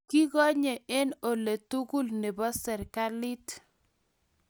Kikonye eng' ole tugul nebo serikalit.